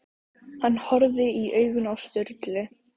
Hann horfði í augun á Sturlu.